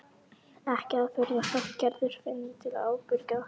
Ekki að furða þótt Gerður finni til ábyrgðar.